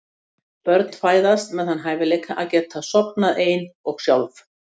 Börn fæðast með þann hæfileika að geta sofnað ein og sjálf.